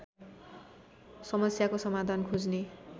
समस्याको समाधान खोज्ने